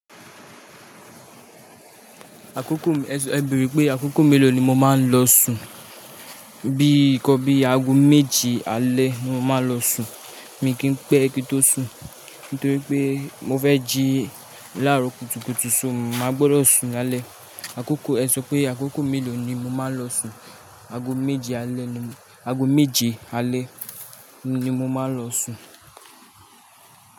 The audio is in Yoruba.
Àkókò mi, ẹ sọ, ẹ bẹ̀ree pé àkókò mélòó ni mo máa ń lọ sùn? Bí i ikọ́n bí i aago méje alẹ́ ni mo máa ń lọ sùn, mi kì í pẹ́ kí n tó sùn. Nítorí pé mo fẹ́ jí láàárọ̀ kùtùkùtù, so mo máa gbọ́dọ̀ sùn lálẹ́. Àkókò, ẹ sọ pé àkókò mélòó ni mo máa ń lọ sùn? Aago méje alẹ́ ni, aago méje alẹ́ ni mo máa ń lọ sùn.